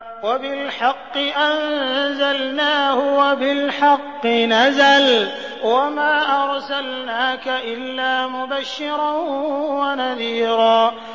وَبِالْحَقِّ أَنزَلْنَاهُ وَبِالْحَقِّ نَزَلَ ۗ وَمَا أَرْسَلْنَاكَ إِلَّا مُبَشِّرًا وَنَذِيرًا